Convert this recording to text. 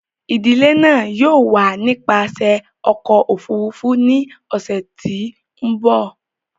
Idile náa yóò wa nipasẹ ọkọ ofurufu ni ọsẹ ti n bọ.